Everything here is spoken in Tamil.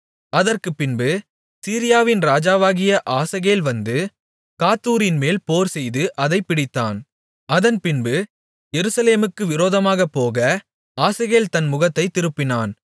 அதற்குப் பின்பு சீரியாவின் ராஜாவாகிய ஆசகேல் வந்து காத்தூரின்மேல் போர்செய்து அதைப் பிடித்தான் அதன் பின்பு எருசலேமுக்கு விரோதமாகப்போக ஆசகேல் தன் முகத்தைத் திருப்பினான்